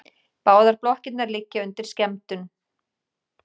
Báðar blokkirnar liggja undir skemmdum